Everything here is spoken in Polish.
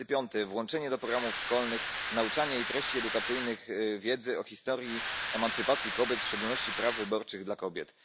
35, włączenie do programów szkolnych, nauczania i treści edukacyjnych wiedzy o historii emancypacji kobiet, w szczególności praw wyborczych dla kobiet.